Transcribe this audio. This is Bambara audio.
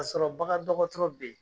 Ka sɔrɔ bagan dɔgɔtɔrɔ be yen